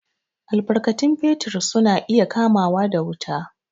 Albarkatun fetir su na iya kamawa da wuta.